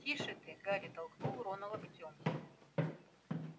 тише ты гарри толкнул рона локтём